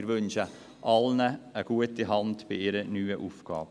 Ich wünsche allen eine gute Hand bei ihrer neuen Aufgabe.